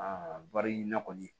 bari na kɔni